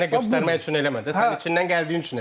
Onu mənə göstərmək üçün eləmə də, sənin içindən gəldiyi üçün elə.